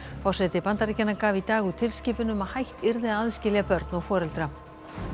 forseti Bandaríkjanna gaf í dag út tilskipun um að hætt yrði að aðskilja börn og foreldra